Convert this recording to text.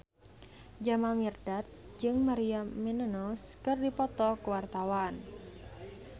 Jamal Mirdad jeung Maria Menounos keur dipoto ku wartawan